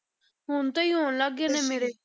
ਹੁਣ ਤੋਂ ਹੀ ਹੋਣ ਲੱਗ ਗਏ ਨੇ ਮੇਰੇ।